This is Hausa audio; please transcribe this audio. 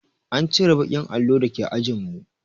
An cire baƙin allon da ke ajin mu